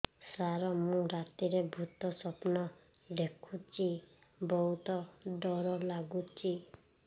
ସାର ମୁ ରାତିରେ ଭୁତ ସ୍ୱପ୍ନ ଦେଖୁଚି ବହୁତ ଡର ଲାଗୁଚି